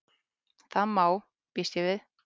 Það má.- býst ég við.